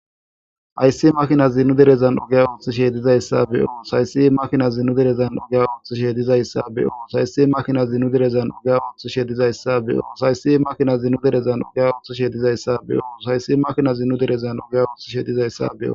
Ayssi makina zinu derezan ugya ooth sheedizayssa beyo sayssi makina zinu derezan ugya ooth sheedizayssa beyo saysi makina zinu derezan ugea ooth shedizayssa beyo saysi makina zinu derezan uya othu shedizayssa beyo sayssi makina zinu derezan ugye ooth shedizayssa beo